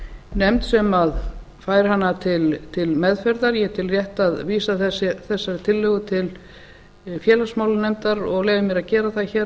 nefnd sem fær hana til meðferðar ég tel rétt að vísa þessari tillögu til félagsmálanefndar og leyfi mér að gera það hér